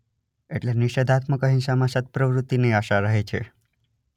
એટલે નિષેધાત્મક અહિંસામાં સત પ્રવૃતિની આશા રહે છે